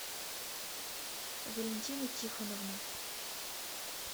валентина тихоновна